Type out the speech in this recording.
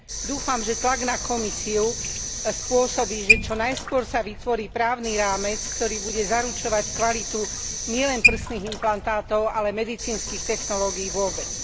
Dúfam, že tlak na Komisiu spôsobí, že čo najskôr sa vytvorí právny rámec, ktorý bude zaručovať kvalitu nielen prsných implantátov, ale medicínskych technológií vôbec.